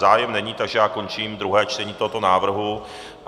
Zájem není, takže já končím druhé čtení tohoto návrhu.